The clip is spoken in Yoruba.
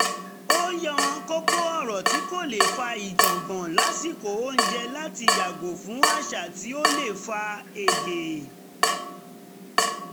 ó yan kókó ọ̀rọ̀ tí kò lè fà ìjọ̀ngbọ̀n lásìkò oúnjẹ láti yàgò fún àṣà tí ó lè fa èdè